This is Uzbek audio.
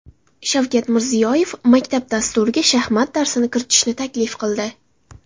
Shavkat Mirziyoyev maktab dasturiga shaxmat darsini kiritishni taklif qildi.